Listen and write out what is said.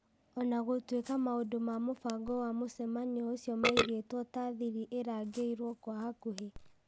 O na gũtuĩka maũndũ ma mũbango wa mũcemanio ũcio maigĩtwo ta thiri ĩrangĩirwo kwa hakũhi